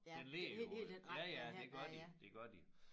Den ligger jo ja ja det gør de det gør de